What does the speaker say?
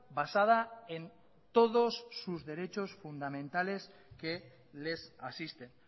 basada en todos sus derechos fundamentales que les asisten